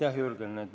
Aitäh, Jürgen!